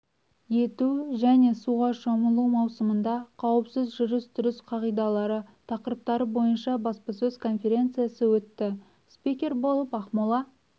ету және суға шомылу маусымында қауіпсіз жүріс-тұрыс қағидалары тақырыптары бойынша баспасөз-конференциясы өтті спикер болып ақмола